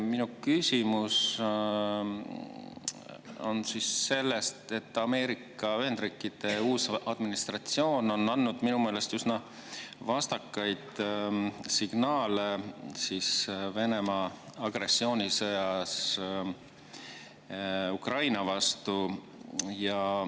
Minu küsimus on selle kohta, et Ameerika Ühendriikide uus administratsioon on andnud minu meelest üsna vastakaid signaale Venemaa agressioonisõja kohta Ukraina vastu.